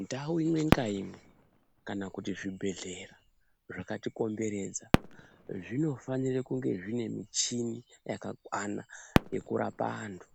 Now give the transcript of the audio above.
Ndau imwe ngaimwe kana kuti zvibhedhlera zvakatikomberedza zvinofanire kunge zvine michini yakakwana yekurapa antu.